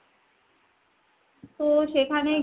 তো সেখানে